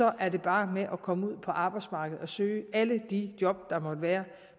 er det bare med at komme ud på arbejdsmarkedet og søge alle de job der måtte være